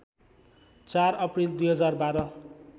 ४ April २०१२